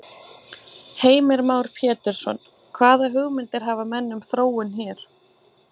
Heimir Már Pétursson: Hvaða hugmyndir hafa menn um þróun hér?